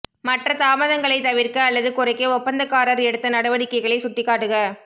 மற்ற தாமதங்களை தவிர்க்க அல்லது குறைக்க ஒப்பந்தக்காரர் எடுத்த நடவடிக்கைகளை சுட்டிக்காட்டுக